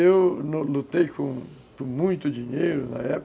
Eu lutei com muito dinheiro na época.